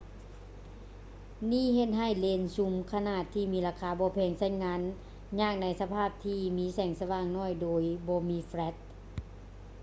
ນີ້ເຮັດໃຫ້ເລນຊູມຂະໜາດທີ່ມີລາຄາບໍ່ແພງ ໃຊ້ງານຍາກໃນສະພາບທີ່ມີແສງສະຫວ່າງໜ້ອຍໂດຍບໍ່ມີແຝຼັດ